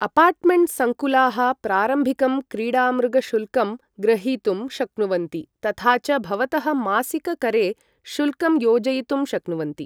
Apartment सङ्कुलाः प्रारम्भिकं क्रीडामृग शुल्कं ग्रहीतुं शक्नुवन्ति, तथा च भवतः मासिक करे शुल्कं योजयितुं शक्नुवन्ति।